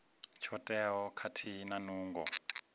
tsho teaho khathihi na nungo